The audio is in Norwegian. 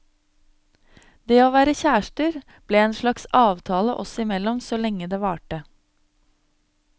Det å være kjærester ble en slags avtale oss imellom så lenge det varte.